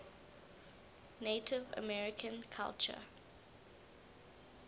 native american culture